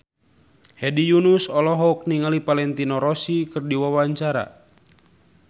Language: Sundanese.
Hedi Yunus olohok ningali Valentino Rossi keur diwawancara